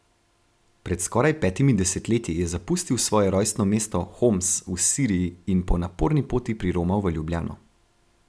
Pred skoraj petimi desetletji je zapustil svoje rojstno mesto Homs v Siriji in po naporni poti priromal v Ljubljano.